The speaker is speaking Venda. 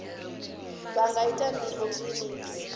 vha nga ita ndingo kiliniki